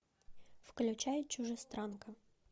включай чужестранка